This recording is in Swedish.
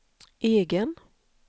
egen